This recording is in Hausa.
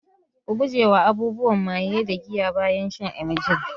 Ku gujewa abubuwan maye da giya bayan shan emgil